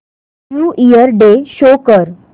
new year day show कर